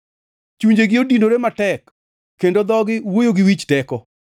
Chunjegi odinore matek, kendo dhogi wuoyo gi wich teko.